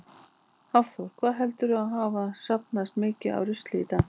Hafþór: Hvað heldurðu að hafi safnast mikið af rusli í dag?